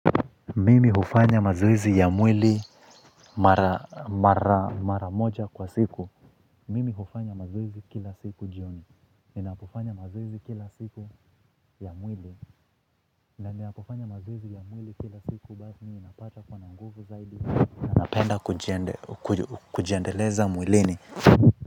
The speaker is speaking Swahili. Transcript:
Mimi hufanya mazoezi ya mwili mara moja kwa siku. Mimi hufanya mazoezi kila siku jioni. Ninapofanya mazoezi kila siku ya mwili ninapofanya mazoezi ya mwili kila siku baasi ninapata kuwa na nguvu zaidi. Na napenda kujiendeleza mwilini.